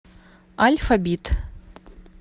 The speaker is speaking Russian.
альфабит